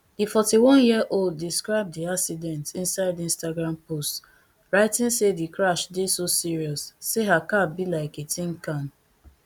di forty-oneyearold describe di accident insideinstagram post writing say di crash dey so serious say her car be like a tin can